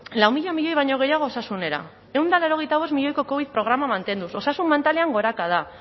lau mila milioi baino gehiago osasunera ehun eta laurogeita bost milioiko covid programa mantenduz osasun mentalean gorakada